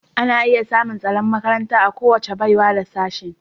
Ana iya samun tsaron makaranta a kowace baiwa da Sashen